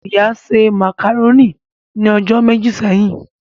Ìyá se màkàrónì ni ọjọ́ méjì sẹ́yìn